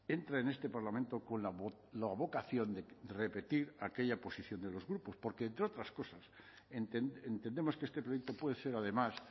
entra en este parlamento con la vocación de repetir aquella posición de los grupos porque entre otras cosas entendemos que este proyecto puede ser además